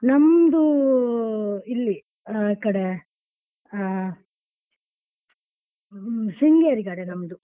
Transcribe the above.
ನಮ್ದು ಇಲ್ಲಿ ಆ ಕಡೆ ಅಹ್ ಶೃಂಗೇರಿ ಕಡೆ ನಮ್ದು.